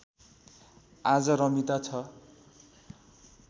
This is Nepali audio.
आज रमिता छ